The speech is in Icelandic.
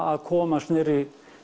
að komast niður í